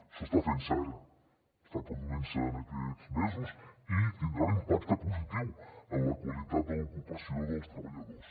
això està fent se ara està produint se en aquests mesos i tindrà un impacte positiu en la qualitat de l’ocupació dels treballadors